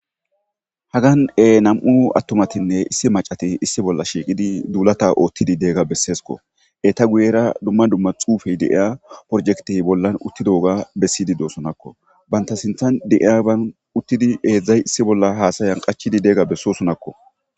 Hagan ee nam7u aththumathinne issi maccathi issi bolla shiiqidi duulatha ooththiddi diyaagaa besseskoo; eetha guyyeera dumma dumma xuufee de7iyaa projekthe bollan uththidoogaa bessiiddi dosonakkoo;banththa sinththan de7iyaban uththidi heezzay issi bolla haasayan qachchidi diyaagaa bessoosonakoo.